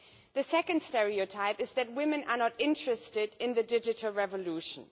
The second stereotype is that women are not interested in the digital revolution.